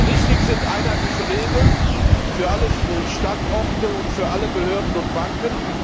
Richtig sind einheitliche Regeln für alle Standorte und für alle Behörden und Banken.